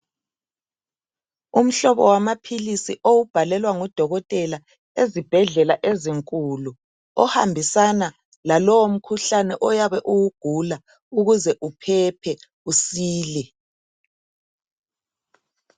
Umhlobo wamaphilisi owubhalelwa ngodokotela ezibhedlela ezinkulu ohambisana lalomkhuhlane oyabe uwugula ukuze uphephe, usile.